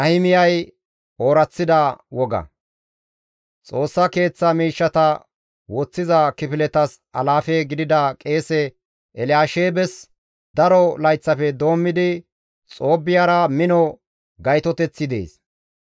Xoossa Keeththa miishshata woththiza kifiletas alaafe gidida qeese Elyaasheebes daro layththafe doommidi Xoobbiyara mino gaytoteththi dees;